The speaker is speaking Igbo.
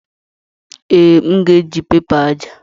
Ee, m ga-eji pẹpa aja.